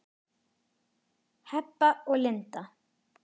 Heba og Linda.